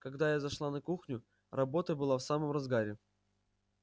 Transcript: когда я зашла на кухню работа была в самом разгаре